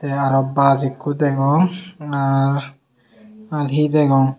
te aro bas ekko degong nar muiji degong.